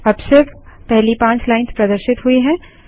अब सिर्फ पहली पाँच लाइन्स प्रदर्शित हुई हैं